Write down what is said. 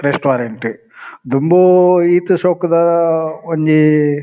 restaurant ದುಂಬೂ ಈತ್ ಶೋಕುದ ಒಂಜಿ--